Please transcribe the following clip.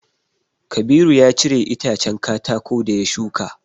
Kabiru ya cire itacen katako da ya shuka.